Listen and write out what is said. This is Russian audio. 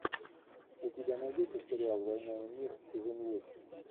у тебя найдется сериал война и мир сезон восемь